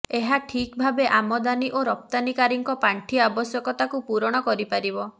ଏହା ଠିକ୍ ଭାବେ ଆମଦାନି ଓ ରପ୍ତାନିକାରୀଙ୍କ ପାଣ୍ଠି ଆବଶ୍ୟକତାକୁ ପୂରଣ କରିପାରିବ